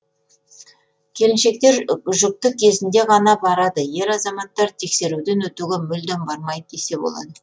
келіншектер жүкті кезінде ғана барады ер азаматтар тексеруден өтуге мүлдем бармайды десе болады